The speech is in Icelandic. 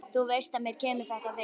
Þú veist að mér kemur þetta við.